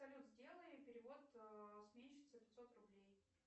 салют сделай перевод сменщице пятьсот рублей